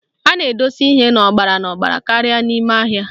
A na-edosi ihe n'ọgbara n'ọgbara karịa ime ahịa